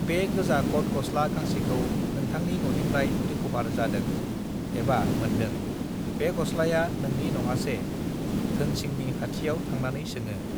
बे गोजा कट गस्ला गांसेखौ नोंथांनि ननिफ्राय रिकभार जादों एबा मोन्दों बे गस्लाया नोंनि नङासे धोनसिंनि खाथियाव थांनानै सोङों